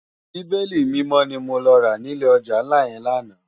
Bibéli Mimò ni mó rá ni ilé òjá nlá yèn làná